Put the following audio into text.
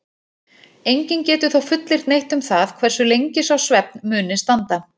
Enginn getur þó fullyrt neitt um það hversu lengi sá svefn muni standa.